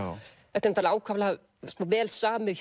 þetta er ákaflega vel samið